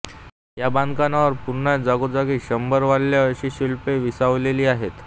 या बांधकामावर पुन्हा जागोजागी शरभ व्याल अशी शिल्पें विसावलेली आहेत